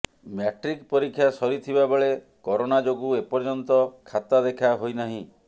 matric ପରୀକ୍ଷା ସରିଥିବା ବେଳେ କରୋନା ଯୋଗୁ ଏପର୍ଯ୍ୟନ୍ତ ଖାତା ଦେଖା ହୋଇନାହିଁ